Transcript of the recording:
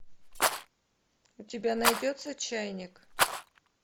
у тебя найдется чайник